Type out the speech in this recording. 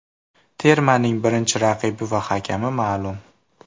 Termaning birinchi raqibi va hakami ma’lum .